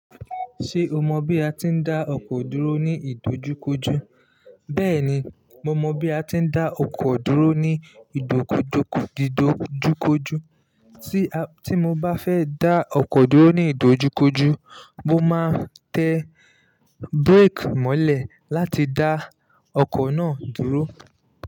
Ṣé o mọ bí a ti ń dá ọkọ̀ dúró ní ìdojúkojú? Bẹ́ẹ̀ni, mo mọ bí a ti ń dá ọkọ̀ dúró ní ìdojúkojú. Ti a Tí mo bá fẹ́ dá ọkọ̀ dúró ní ìdojúkojú, mo máa tẹ brake mọ́lẹ̀ láti dá ọkọ̀ náà dúró.